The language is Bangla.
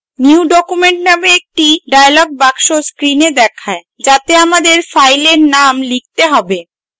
new document name একটি dialog box screen দেখায় যাতে আমাদের file name লিখতে হবে